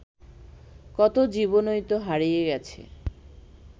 কত জীবনই তো হারিয়ে গেছে